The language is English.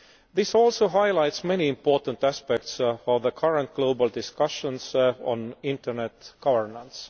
This also highlights many important aspects for the current global discussions on internet governance.